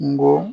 Kungo